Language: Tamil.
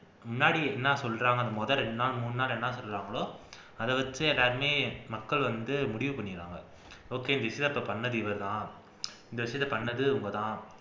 முன்னாடி என்ன சொல்றாங்கன்னு முதல் இரண்டு நாள் மூணு நாள் என்ன சொல்றாங்களோ அதை வச்சு எல்லாருமே மக்கள் வந்து முடிவு பண்ணிடுறாங்க okay பண்ணிணது இவ தான் இந்த விஷயத்தை பண்ணிணது இவங்கதான்